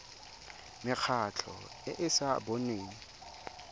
mekgatlho e e sa boneng